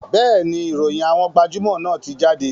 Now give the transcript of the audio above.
Bẹ́ẹ̀ni, ìròyìn àwọn gbajúmò náà ti jáde